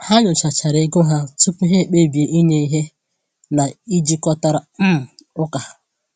Ha nyochachara ego ha tupu ha kpebie inye ihe na-ejikọtara um ụka.